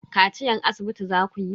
Kaciyan asibiti zakuyi?